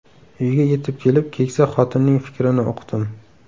Uyga yetib kelib, keksa xotinning fikrini uqdim.